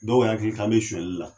Dɔw yakili k'an be suɲɛli la